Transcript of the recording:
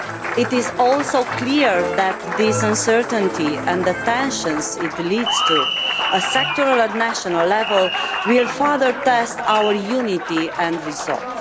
It is also clear that this uncertainty and the tensions it leads to at sectoral and national level will further test our unity and resolve.